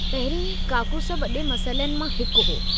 पहिरीं काकूस वॾे मसइलनि मां हिकु हो।